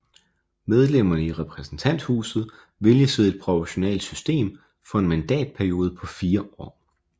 Medlemmerne i repræsentanthuset vælges ved et proportionelt valgsystem for en mandatperiode på fire år